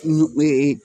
Ɲee